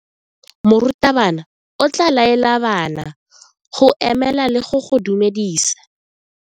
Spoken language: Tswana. Morutabana o tla laela bana go ema le go go dumedisa.